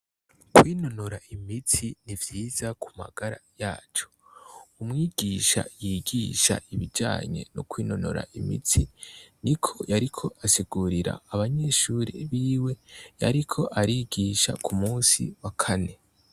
Kwinonora imitsi ni ivyiza ku magara yacu umwigisha yigisha ibijanye n'ukwinonora imitsi ni ko yariko asigurira abanyeshuri biwe yariko arigisha ku musi wa kane.